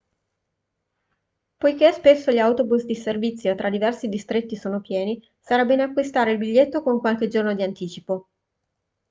poiché spesso gli autobus di servizio tra diversi distretti sono pieni sarà bene acquistare il biglietto con qualche giorno di anticipo